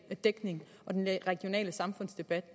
dækning og den regionale samfundsdebat